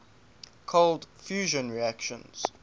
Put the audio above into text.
cold fusion reactions